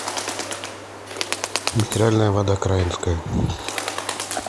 минеральная вода краинская